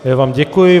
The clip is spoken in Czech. Já vám děkuji.